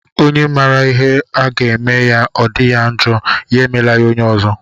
Onye mara ihe a ga-eme ya o di ya njọ, ya emela ya onye ọzọ.